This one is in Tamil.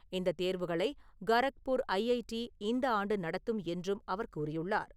இந்தத் தேர்வுகளை கரக்பூர் ஐஐடி இந்த ஆண்டு நடத்தும் என்றும் அவர் கூறியுள்ளார்.